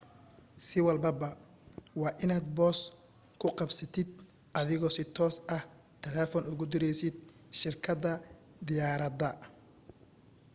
si walbaba waa inaad boos ku qabsatid adigoo si toos ah telefoon ugu diraysid shirkadda diyaaradda